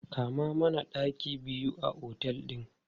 Kama mana ɗaki biyu a otel ɗin!